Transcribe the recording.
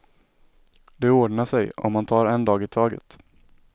Det ordnar sig, om man tar en dag i taget.